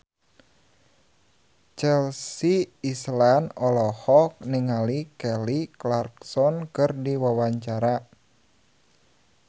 Chelsea Islan olohok ningali Kelly Clarkson keur diwawancara